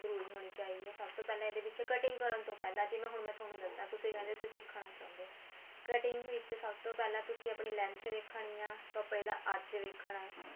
ਪੂਰੀ ਹੋਣੀ ਚਾਹੀਦੀ ਏ ਸਭ ਤੋਂ ਪਹਿਲਾਂ ਇਹਦੇ ਵਿੱਚ cutting ਕਰਨ ਤੋਂ ਪਹਿਲਾਂ ਜਿਵੇਂ ਹੁਣ ਮੈਂ ਹੁਣ ਤੁਹਾਨੂੰ ਦੱਸਿਆ ਤੁਸੀਂ ਕਹਿੰਦੇ ਅਸੀਂ ਸਿੱਖਣਾ ਚਾਹੁੰਦੇ ਹੋ cutting ਵਿੱਚ ਸਭ ਤੋਂ ਪਹਿਲਾਂ ਤੁਸੀਂ ਆਪਣੀ length ਦੇਖਣੀ ਆ ਆਪਾਂ ਇਹਦਾ ਅੱਜ ਦੇਖਣਾ ਏ